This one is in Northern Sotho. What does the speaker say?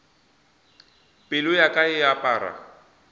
pelo ya ka e apara